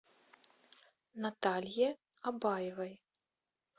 наталье абаевой